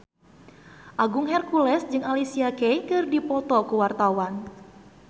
Agung Hercules jeung Alicia Keys keur dipoto ku wartawan